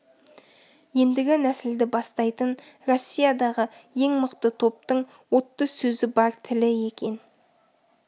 ендігі нәсілді бастайтын россиядағы ең мықты топтың отты сөзі бар тілі екен